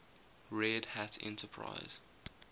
red hat enterprise